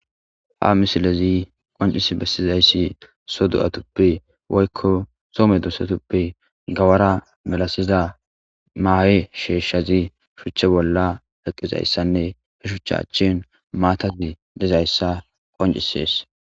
Ha misilezi qoncis bessizayssi so do'atuppe woykko soome duosatuppe gawara melasiza maahe sheeshshazi shuche bolla eqizayssanne he shuchcha achchin maatazi dezayssa qoncisees.